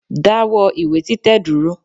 Dáwọ́ ìwé títẹ̀ dúró